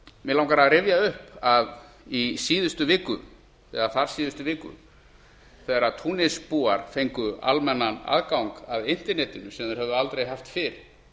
mig langar að rifja upp að í síðustu viku eða þar síðustu viku þegar túnisbúar fengu almennan aðgang að internetinu sem þeir höfðu aldrei haft fyrr